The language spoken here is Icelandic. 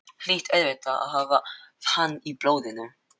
Hlýt auðvitað að hafa hann í blóðinu.